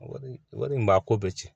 Wari wari in b'a ko bɛɛ cɛn